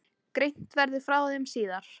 Greint verði frá þeim síðar.